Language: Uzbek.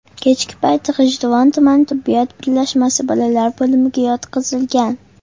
Kechki payt G‘ijduvon tuman tibbiyot birlashmasi bolalar bo‘limiga yotqizilgan.